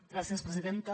gràcies presidenta